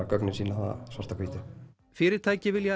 gögnin sýna það svart á hvítu fyrirtæki vilja